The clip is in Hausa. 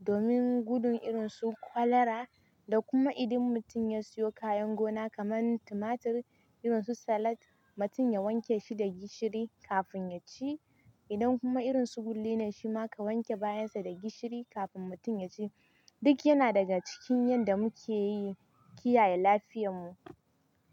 domin gudun irin su kwalara da kuma idan mutum ya siyo kayan gona kaman tumatur irin su salat mutum ya wanke shi da gishiri kafin ya ci. Idan kuma irin su gulli ne shima ka wanke bayan sa da gishiri kafin mutum ya ci. Duk yana daga cikin yadda muke yi Kiyaye lafiyan mu.